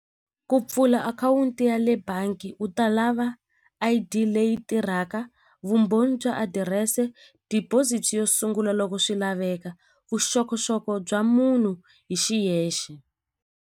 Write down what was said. Ku pfula akhawunti ya le bangi u ta lava I_D leyi tirhaka vumbhoni bya adirese deposit yo sungula loko swi laveka vuxokoxoko bya munhu hi xiyexe.